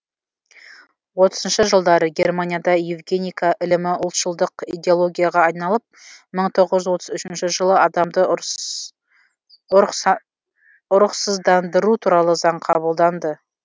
отызыншы жылдары германияда евгеника ілімі ұлтшылдық идеологияға айналып мың тоғыз жүз отыз үшінші жылы адамды ұрықсыздандыру туралы заң қабылданды